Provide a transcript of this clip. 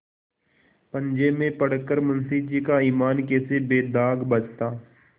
पंजे में पड़ कर मुंशीजी का ईमान कैसे बेदाग बचता